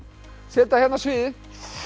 setja hérna sviðið